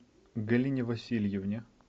галине васильевне